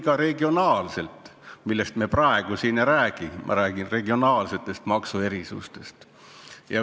Ja sellest me praegu ei räägi, aga vaja oleks ka regionaalseid maksuerisusi.